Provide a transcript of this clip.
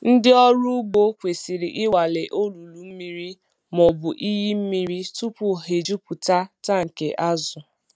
Ndị ọrụ ugbo kwesịrị ịnwale olulu mmiri ma ọ bụ iyi mmiri tupu ha ejupụta tankị azụ.